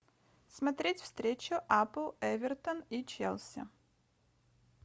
смотреть встречу апл эвертон и челси